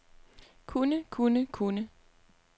kunne kunne kunne